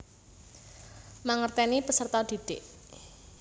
Mangerteni peserta didik